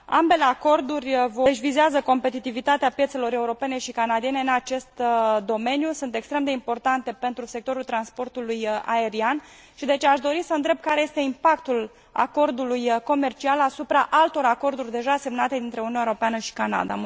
Ambele acorduri vizează competitivitatea piețelor europene și canadiene în acest domeniu, sunt extrem de importante pentru sectorul transportului aerian și, deci, aș dori să întreb care este impactul acordului comercial asupra altor acorduri deja semnate dintre Uniunea Europeană și Canada.